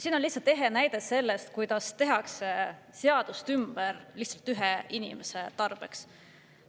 See on lihtsalt ehe näide sellest, kuidas tehakse seadust ümber lihtsalt ühe inimese tarbeks.